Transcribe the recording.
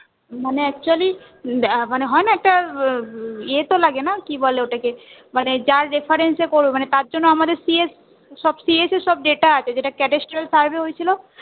মানে Actually মানে হয় না একটা ইয়ে তো লাগে না কি বলে ওটাকে মানে যার reference এ করবে তার জন্য আমাদের সব CSCS এ সব data আছে survey হয়েছিল